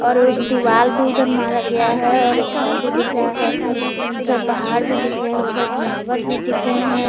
और एक दीवाल भी उधर मर गया है और एक घर भी दिख रहा है उधर पहाड़ भी दिख रहे हैं उधर टावर भी दिख रहे हैं।